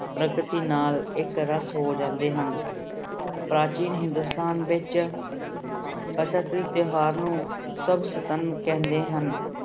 ਪ੍ਰਕਤੀ ਨਾਲ ਇੱਕ ਰਸ ਹੋ ਜਾਂਦੇ ਹਨ, ਪ੍ਰਾਚੀਨ ਹਿੰਦੁਸਤਾਨ ਵਿੱਚ ਬਸੰਤ ਦੇ ਤਿਉਹਾਰ ਨੂੰ ਕਹਿੰਦੇ ਹਨ।